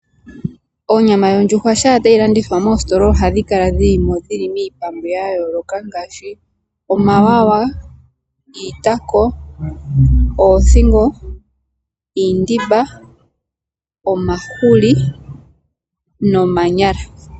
Onyama yondjuhwa sha tayi landithwa moositola ohayi kala dhilimo dhili miipambu ya yooloka ngaashi omawawa, iitako, oothingo, iindimba, omahuli nomanyala.